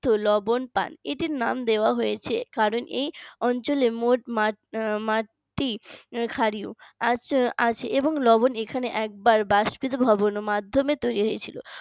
লবণ তান তাই এটার নাম দেওয়া হয়েছে কারণ এই অঞ্চলে মোট পাঁচটি ক্ষারীয় আছে এবং লবণ এখানে একবার বাষ্পীয় ভবন মাধ্যমে তৈরি হয়েছে